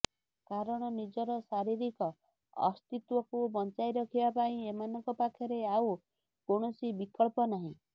କାରଣ ନିଜର ଶାରୀରିକ ଅସ୍ତିତ୍ୱକୁ ବଞ୍ଚାଇ ରଖିବା ପାଇଁ ଏମାନଙ୍କ ପାଖରେ ଆଉ କୌଣସି ବିକଳ୍ପ ନାହିଁ